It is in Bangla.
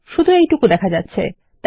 শুধু এইটুকু দেখা যাচ্ছে